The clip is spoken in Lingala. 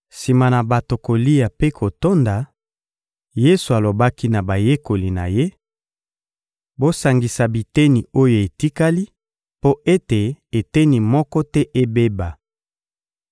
Sima na bato kolia mpe kotonda, Yesu alobaki na bayekoli na Ye: — Bosangisa biteni oyo etikali mpo ete eteni moko te ebeba.